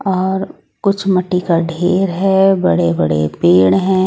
और कुछ मट्ठी का ढेर हैं बड़े बड़े पेड़ हैं।